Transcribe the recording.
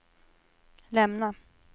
lämna